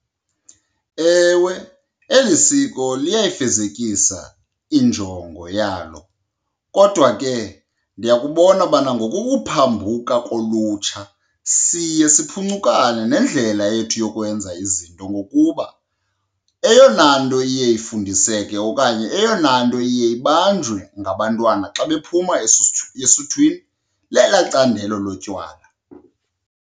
Ewe, eli siko liyayifezekisa injongo yalo. Kodwa ke ndiyakubona ubana ngokuphambuka kolutsha siye siphuncukane nendlela yethu yokwenza izinto ngokuba eyona nto iye ifundiseke okanye eyona nto iye ibanjwe ngabantwana xa bephuma esuthwini lelaa candelo lotywala.